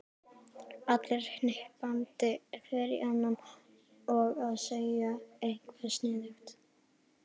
Allir hnippandi hver í annan og að segja eitthvað sniðugt.